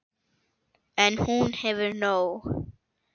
En hún hefur nóg.